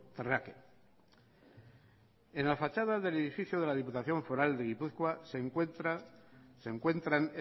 terráqueo en la fachada del edificio de la diputación foral de gipuzkoa se encuentran